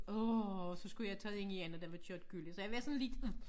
Åh så skulle jeg tage det ind igen og der var kørt gylle så jeg var sådan lidt